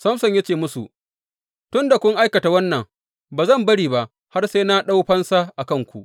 Samson ya ce musu, Tun da kun aikata wannan, ba zan bari ba har sai na ɗau fansa a kanku.